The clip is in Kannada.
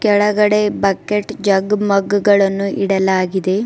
ಕೆಳಗಡೆ ಬಕೆಟ್ ಜಗ್ ಮಗ್ ಗಳನ್ನು ಇಡಲಾಗಿದೆ.